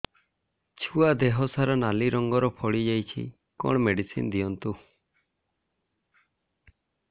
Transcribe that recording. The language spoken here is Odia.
ଛୁଆ ଦେହ ସାରା ନାଲି ରଙ୍ଗର ଫଳି ଯାଇଛି କଣ ମେଡିସିନ ଦିଅନ୍ତୁ